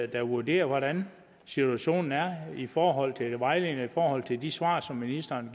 der vurderer hvordan situationen er i forhold til vejledningen forhold til de svar som ministeren